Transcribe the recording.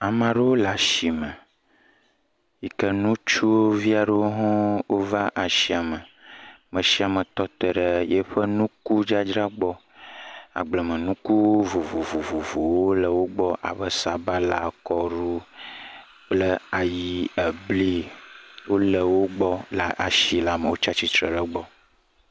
Ame aɖewo le asime yi ke ŋutsuvi aɖewo hã wova asiame. Ame sia ame tɔ te ɖe eƒe nukudzadzra gbɔ. Agbleme nuku vovovowo le wo gbɔ abe sabala, kɔɖu kple ayi, ebli wo le wo gbɔ le asi la me wotsi attire ɖe egbɔ.